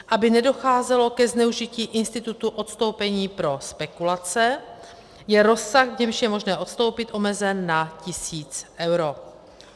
Aby nedocházelo ke zneužití institutu odstoupení pro spekulace, je rozsah, v němž je možné odstoupit, omezen na tisíc eur.